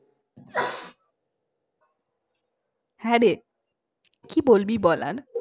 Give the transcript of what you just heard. হ্যাঁরে কি বলবি বল আর